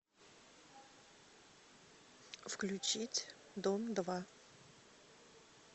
включить дом два